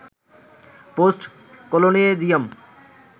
post colonialism